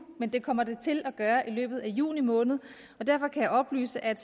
men det kommer det til at gøre i løbet af juni måned og derfor kan jeg oplyse at